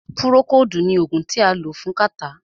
Púrókòodu ní oògùn tí a lò fún kàtá.